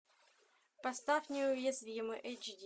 поставь неуязвимый эйч ди